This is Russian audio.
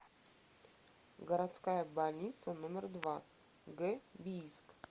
городская больница номер два г бийск